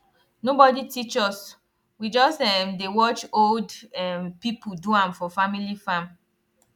nobody teach us we just um dey watch old um people do am for family farm